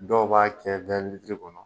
Dɔw b'a kɛ kɔnɔ